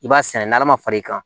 I b'a sɛnɛ n'a ma far'i kan